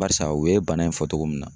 Barisa u ye bana in fɔ otgo min na